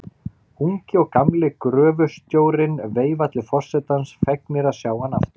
Ungi og gamli gröfustjórinn veifa til forsetans, fegnir að sjá hann aftur.